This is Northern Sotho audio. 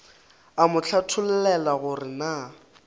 a mo hlathollela gore na